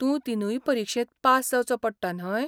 तूं तीनूय परिक्षेंत पास जावचो पडटा न्हय?